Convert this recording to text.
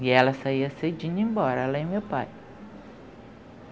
E ela saía cedindo e ia embora, ela e meu pai.